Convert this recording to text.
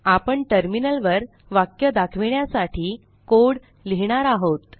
आपणTerminal वर वाक्य दाखविण्यासाठी कोड लिहिणार आहोत